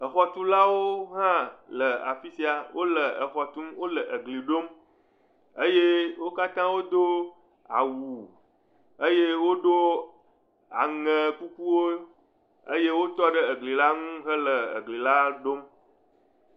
Exɔtulawowo hã le afi sia, wole exɔ tum, wole egli la ɖom eye wo katã wodo awu eye woɖo aŋekukuwo eye wotɔ ɖe egli la ŋu hele egli la ɖom.